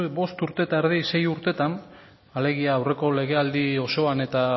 bueno bost urte terdi sei urtetan alegia aurreko legealdi osoan eta